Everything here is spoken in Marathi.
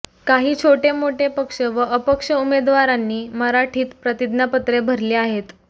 काही छोटेमोठे पक्ष व अपक्ष उमेदवारांनी मराठीत प्रतिज्ञापत्रे भरली आहेत